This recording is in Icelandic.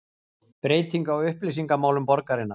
Breyting á upplýsingamálum borgarinnar